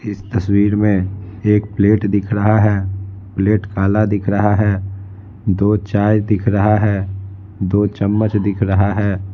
इस तस्वीर में एक प्लेट दिख रहा है प्लेट काला दिख रहा है दो चाय दिख रहा है दो चम्मच दिख रहा है।